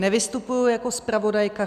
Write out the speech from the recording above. Nevystupuji jako zpravodajka.